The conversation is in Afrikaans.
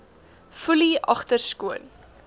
foelie agter skoon